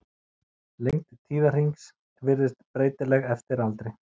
Lengd tíðahrings virðist breytileg eftir aldri.